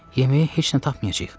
Yeməyə heç nə tapmayacağıq.